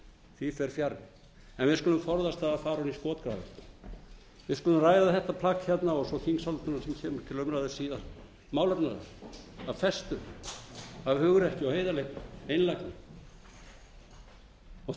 því fer fjarri en við skulum forðast það að fara ofan í skotgrafir við skulum ræða þetta plagg hérna og svo þingsályktunina sem kemur til umræðu síðar málefnalega af festu af hugrekki og